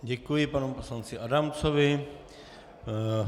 Děkuji panu poslanci Adamcovi.